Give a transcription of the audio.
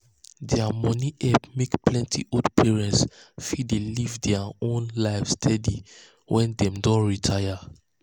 their money help make plenty old parents fit dey live their own life steady um when dem don retire.